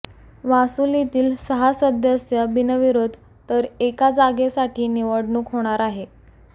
वासुलीतील सहा सदस्य बिनविरोध तर एका जागेसाठी निवडणूक होणार आहे